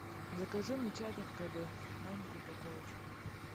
закажи мне чай каркаде маленькую упаковку